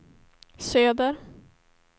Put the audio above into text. söder